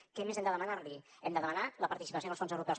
què més hem de demanar li hem de demanar la participació en els fons europeus